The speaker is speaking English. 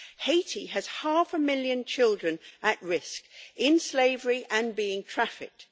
Haiti has half a million children at risk, in slavery and being trafficked.